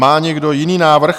Má někdo jiný návrh?